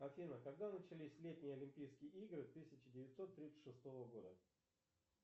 афина когда начались летние олимпийские игры тысяча девятьсот тридцать шестого года